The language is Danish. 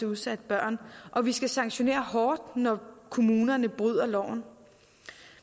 udsatte børn og vi skal sanktionere hårdt når kommunerne bryder loven